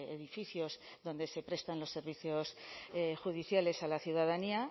edificios donde se prestan los servicios judiciales a la ciudadanía